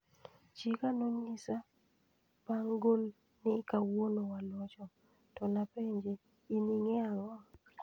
"Chiega no nyisa bang gol ni kawuono walocho, to napenje ni 'in ingeyo ango?